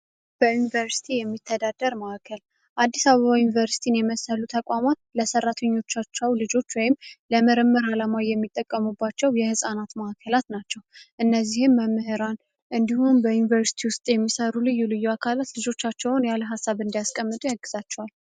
በዩኒቨርሲቲ የሚተዳደር ማዕከል አዲስ አባባ ዩኒቨርሲቲን የመሰሉ ተቋሟት ለሠራተኞቻቸው ልጆች ወይም ለምርምር ዓለማዊ የሚጠቀሙባቸው የሕፃናት ማዕከላት ናቸው። እነዚህም መምህራን እንዲሁኑም በዩኒቨርስቲ ውስጥ የሚሠሩ ልዩ ልዩ አካላት ልጆቻቸውን ያለ ሀሳብ እንዲያስቀምጡ ያግዛቸዋል።